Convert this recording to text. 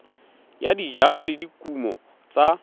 ya dijalo le dikumo tsa